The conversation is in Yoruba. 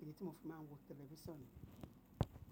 Èyí tí mo fi máa ń wo tẹlifísàn níyẹn.